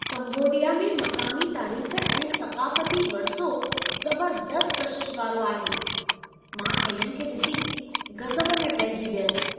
Cambodia में मक़ामी तारीख़ ऐं सक़ाफ़ती वरिसो ज़बरदस्त कशिश वारो आहे! मां इन्हनि खे ॾिसी गज़ब में पइजी वियसि।